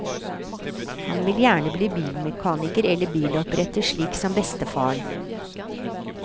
Han vil gjerne bli bilmekaniker eller biloppretter, slik som bestefaren.